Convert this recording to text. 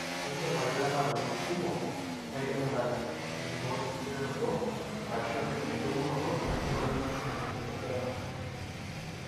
indim atetema ntokiting kumok naidim ataret tenkiboreto ashu tenkishuonoto emoyian lymphedema.